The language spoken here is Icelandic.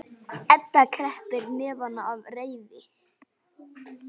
Edda kreppir hnefana af reiði.